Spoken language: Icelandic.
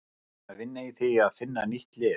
Við erum að vinna í því að finna nýtt lið.